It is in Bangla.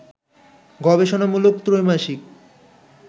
গবেষণামূলক ত্রৈমাসিক